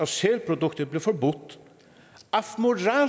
sælprodukter blev forbudt